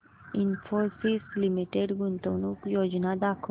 Infosys limited गुंतवणूक योजना दाखव